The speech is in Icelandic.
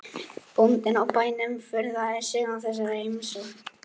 Bóndinn á bænum furðaði sig á þessari heimsókn.